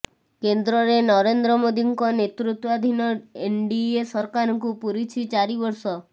କେନ୍ଦ୍ରରେ ନରେନ୍ଦ୍ର ମୋଦିଙ୍କ ନେତୃତ୍ୱାଧୀନ ଏନଡିଏ ସରକାରକୁ ପୂରିଛି ଚାରି ବର୍ଷ